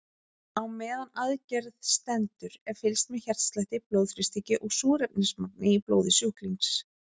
Á meðan á aðgerð stendur er fylgst með hjartslætti, blóðþrýstingi og súrefnismagni í blóði sjúklings.